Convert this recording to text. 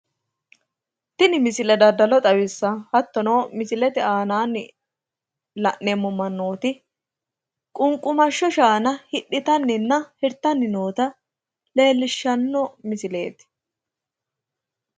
tini misile dadalo xawissanno, hattono misilete aanaanni la'neemmo mannooti ququmashsho shaana hidhitannina hirtanni noota leellishshanno misileeti.